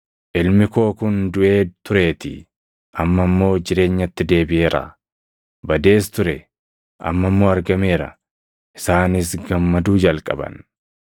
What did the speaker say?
Ilmi koo kun duʼee tureetii; amma immoo jireenyatti deebiʼeeraa. Badees ture; amma immoo argameera.’ Isaanis gammaduu jalqaban.